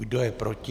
Kdo je proti?